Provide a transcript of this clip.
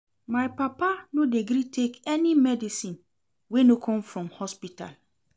My papa no dey gree take any medicine wey no come from hospital.